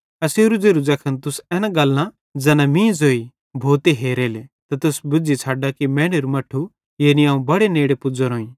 एसेरो ज़ेरो ज़ैखन तुस एना गल्लां ज़ैना मीं ज़ोई भोते हेरेले त तुस बुज़्झ़ी छ़ड्डा कि मैनेरू मट्ठू यानी अवं बड़े नेड़े पुज़्ज़ोरोईं